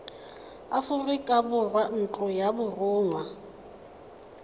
aforika borwa ntlo ya borongwa